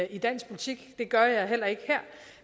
i dansk politik det gør jeg heller ikke her